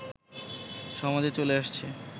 সমাজে চলে আসছে